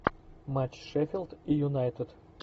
матч шеффилд и юнайтед